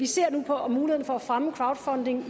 ser på mulighederne for at fremme crowdfunding